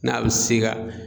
N'a bɛ se ka